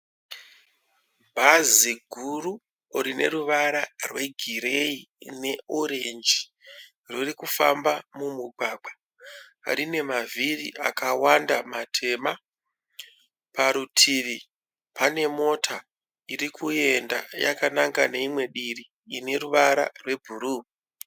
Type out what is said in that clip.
Bhazi guru rine ruvara rwegireyi ne orenji riri kufamba mumugwagwa, rine mavhiri akawanda matema parutivi. Pane mota iri kuenda kune rimwe divi ine ruvara rwebhuruu.